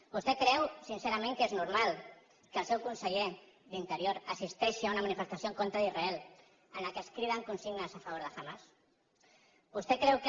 vostè creu sincerament que és normal que el seu con·seller d’interior assisteixi a una manifestació en contra d’israel en què es criden consignes a favor de hamas vostè creu que